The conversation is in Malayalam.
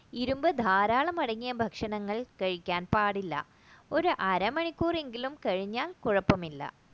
ഇരുമ്പ് ധാരാളം അടങ്ങിയ ഭക്ഷണങ്ങൾ കഴിക്കാൻ പാടില്ല ഒരു അരമണിക്കൂർ എങ്കിലും കഴിഞ്ഞാൽ കുഴപ്പമില്ല